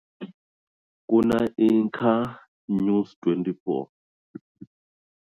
Ku na news twenty four.